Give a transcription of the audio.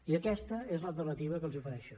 i aquesta és l’alternativa que els ofereixo